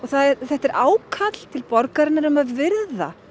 þetta er ákall til borgarinnar um að virða